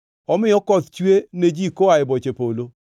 omiyo koth chue ne ji koa e boche polo.